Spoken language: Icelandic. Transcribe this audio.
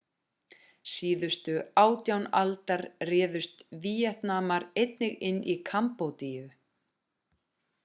síðustu ár 18. aldar réðust víetnamar einnig inn í kambódíu